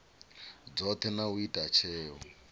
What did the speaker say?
dzothe na u ita tsheo